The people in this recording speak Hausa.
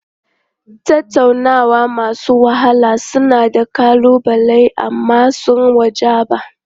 Tattaunawa masu wahala suna da ƙalubale amma sun wajaba.